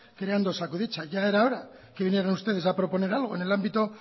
creando osakidetza ya era hora de que vinieran ustedes a proponer algo en el ámbito